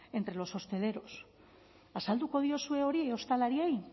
entre los hosteleros azalduko diozue hori ostalariei